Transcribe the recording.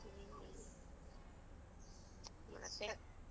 .